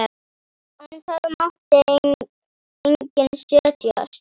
En það mátti enginn setjast.